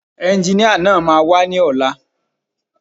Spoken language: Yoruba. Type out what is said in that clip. Ẹnginíà náà máa wá ní ọ̀la